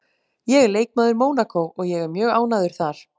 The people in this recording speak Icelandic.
Ég er leikmaður Mónakó og ég er mjög ánægður þar